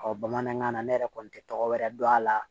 bamanankan na ne yɛrɛ kɔni tɛ tɔgɔ wɛrɛ dɔn a la